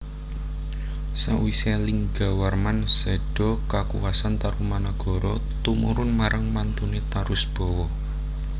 Sawisé Linggawarman séda kakuwasan Tarumanagara tumurun marang mantuné Tarusbawa